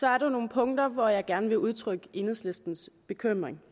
er der nogle punkter hvor jeg gerne vil udtrykke enhedslistens bekymring